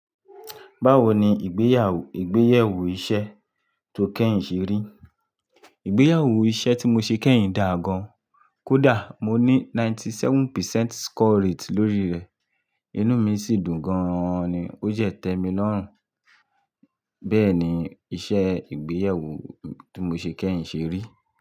Báwo ni ìgbéyewó ìgbéyewo iṣẹ́ tó kẹ́yìn ṣe rí? Ìgbéyewo iṣẹ́ tí mo ṣe kẹ́yìn dà gán, kódà mo ní ninety seven percent score rate lórí rẹ̀, inú mi sì dùn gan-an ni. Ó jẹ́ tẹ́mi lọ́rùn. Bẹ́ẹ̀ ni iṣẹ́ ìgbéyewó tí mo ṣe kẹ́yìn ṣe rí.